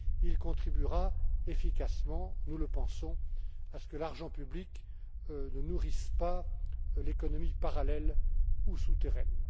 Il contribuera efficacement nous le pensons à ce que l'argent public ne nourrisse pas l'économie parallèle ou souterraine.